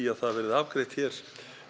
að það verði afgreitt hér